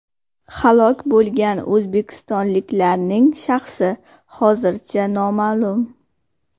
Halok bo‘lgan o‘zbekistonliklarning shaxsi hozircha noma’lum.